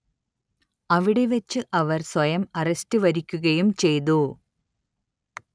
അവിടെ വച്ച് അവർ സ്വയം അറസ്റ്റ് വരിക്കുകയും ചെയ്തു